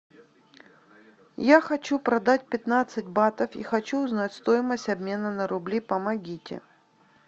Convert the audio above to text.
я хочу продать пятнадцать батов и хочу узнать стоимость обмена на рубли помогите